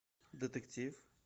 детектив